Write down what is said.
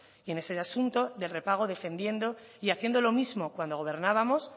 y en ese asunto de repago defendiendo y haciendo lo mismo cuando gobernábamos